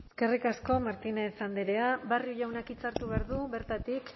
eskerrik asko martínez andrea barrio jaunak hitza hartu behar du bertatik